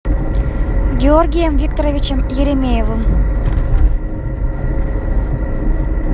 георгием викторовичем еремеевым